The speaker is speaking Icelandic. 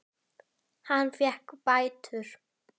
Hann fékk bætur.